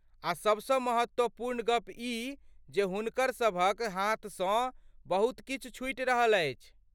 आ सबसँ महत्वपूर्ण गप ई जे हुनकरसभक हाथसँ बहुत किछु छुटि रहल अछि।